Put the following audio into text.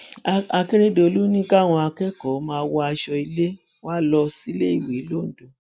akérédọlù ní káwọn akẹkọọ máa wọ aṣọ ilé wa lọ síléeèwé londo